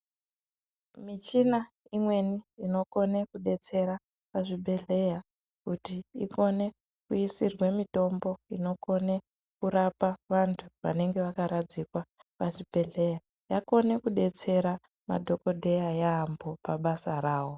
Michina imweni inekone kudetsera muzvibhehleya kuti ikone kubekwe mitombo inokone kudetsere vanthu vanenge vakaradzikwa pazvibhedheya yakone kubatsira madhokodheya yamho pabasa ravo.